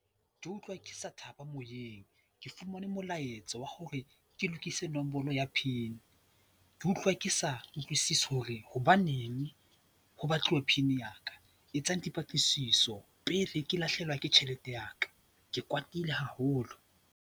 Ke utlwa ke sa thaba moyeng. Ke fumane molaetsa wa hore ke lokise nombolo ya pin, ke utlwa ke sa utlwisisi hore hobaneng ho batluwa pin ya ka. Etsang dipatlisiso pele ke lahlehelwa ke tjhelete ya ka. Ke kwatile haholo!